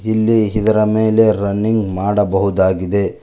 ಇಲ್ಲಿ ಇದರ ಮೇಲೆ ರನ್ನಿಂಗ್ ಮಾಡಬಹುದಾಗಿದೆ.